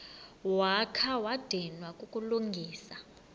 wakha wadinwa kukulungisa